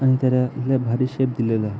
आणि त्याला लय भारी शेप दिलेला आहे.